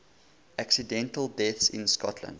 accidental deaths in scotland